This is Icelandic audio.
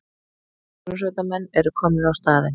Björgunarsveitarmenn eru komnir á staðinn